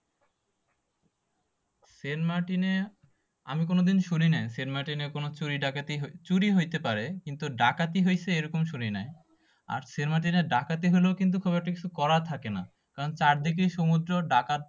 সেন্টমার্টিনে আমি কোনদিন শুনি নাই। সেন্টমার্টিনে কোন চুরি ডাকাতি চুরি হইতে পারে কিন্তু ডাকাতি হয়েছে এইরকম শুনি নাই। আর সেন্টমার্টিনে ডাকাতি হলেও কিন্তু খুব একটা কিছু করার থাকে না। কারণ চারদিকেই সমুদ্র ডাকাত